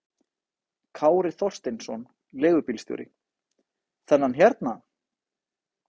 Kári Þorsteinsson, leigubílstjóri: Þennan hérna?